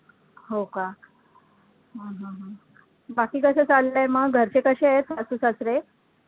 हो का हम्म हम्म बाकी कसं चाललंय मग, घरचे कसे आहेत सासू सासरे